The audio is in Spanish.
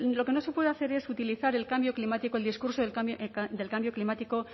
lo que no se puede hacer es utilizar el cambio climático el discurso del cambio climático